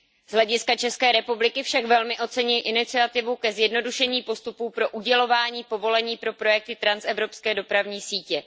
Z hlediska České republiky však velmi oceňuji iniciativu ke zjednodušení postupu pro udělování povolení pro projekty transevropské dopravní sítě.